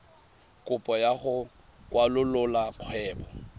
kopo ya go kwalolola kgwebo